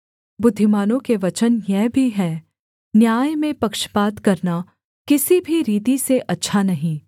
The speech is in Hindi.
बुद्धिमानों के वचन यह भी हैं न्याय में पक्षपात करना किसी भी रीति से अच्छा नहीं